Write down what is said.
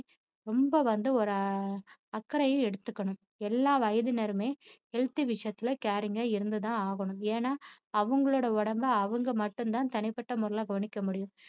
ரொம்ப வந்து ஒரு அக்கறைய எடுத்துக்கணும் எல்லா வயதினருமே healthy விஷயத்துல caring ஆ இருந்துதான் ஆகணும் ஏன்னா அவங்களோட உடம்ப அவங்க மட்டும்தான் தனிப்பட்ட முறையில கவனிக்க முடியும்